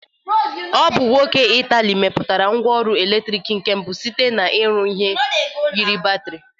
Ọ bụ nwoke mba Ịtalị meputara ngwa ọrụ eletrịk nke mbụ sita n'ịrụ ihi yiri batịrị.